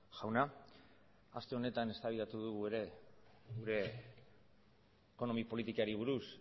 jauna aste honetan eztabaidatu dugu ere gure ekonomi politikari buruz